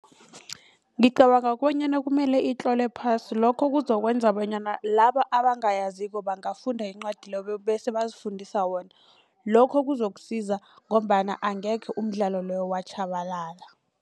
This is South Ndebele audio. Ngicabanga bonyana kumele itlolwe phasi lokho kuzokwenza bonyana laba abangayaziko bangafunda incwadi leyo bese bazifundise wona. Lokho kuzokusiza ngombana angekhe umdlalo loyo watjhabalala.